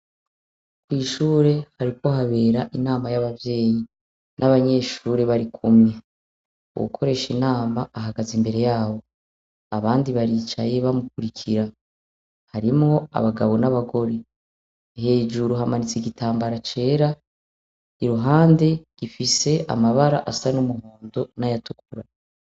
Mw'ishure hariko habera inama y'abavyeyi n'abanyeshure bari kumwe. Uwukoresha inama ahagaze imbere yabo. Abandi baricaye bamukurikira. Harimwo abagabo n'abagore. Hejuru hamanitse igitambara cera, iruhande gifise amabara asa n'umuhondo n'ayatukura.